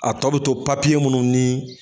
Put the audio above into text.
A tɔ bɛ to papiye munnu ni.